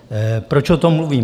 Proč o tom mluvím?